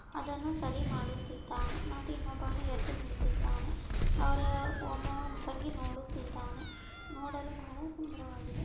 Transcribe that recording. ಅದನ್ನು ಸರಿ ಮಾಡುತ್ತಿದ್ದಾನೆ. ಮತ್ತು ಇನ್ನೊಬ್ಬನು ಎದ್ದು ನಿಂತಿದ್ದಾನೆ. ಅವರೇ ಒಬ್ಬ ಬಗ್ಗಿ ನೋಡುತ್ತಿದ್ದಾನೆ .ನೋಡಲು ಬಹಳ ಸುಂದರ ವಾಗಿದೆ.